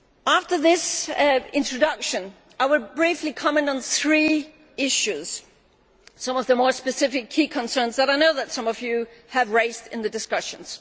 After this introduction I will briefly comment on three issues involving some of the more specific key concerns that I know some of you have raised in the discussions.